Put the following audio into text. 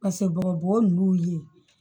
Paseke bɔgɔbugu nunnu ye